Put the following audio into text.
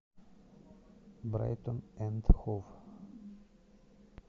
брайтон энд хов